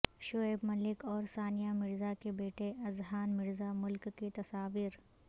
شعیب ملک اور ثانیہ مرزا کے بیٹے اذہان مرزا ملک کی تصاویر